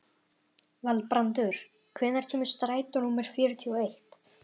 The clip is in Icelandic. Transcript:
Valbrandur, hvenær kemur strætó númer fjörutíu og eitt?